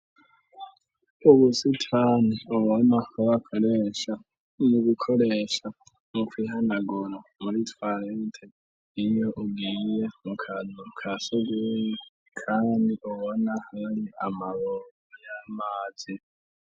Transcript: Ubusitani ubona ko bakoresha mu gukoresha mu kwihanagura muri tuwarete iyo ugiye mukantu kasogoyi kandi ubona ari amabungo y'amazi.